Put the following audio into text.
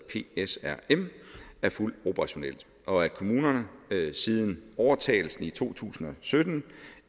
psrm er fuldt operationelt og at kommunerne siden overtagelsen i to tusind og sytten